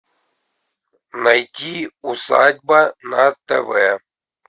найди усадьба на тв